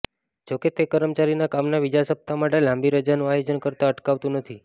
જો કે તે કર્મચારીને કામના બીજા સપ્તાહ માટે લાંબી રજાનું આયોજન કરતા અટકાવતું નથી